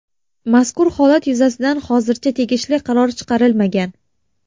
Mazkur holat yuzasidan hozircha tegishli qaror chiqarilmagan.